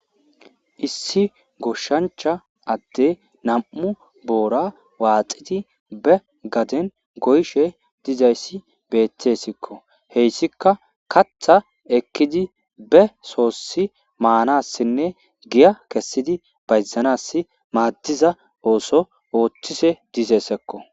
issi goshshancha adde nam7u boora waaxidi be gaden goyshe dizayssi beettessikko heyssika katha ekkidi be soossi maanassinne giya kessidi bayzanass maaddiza ooso ooththise dizessekko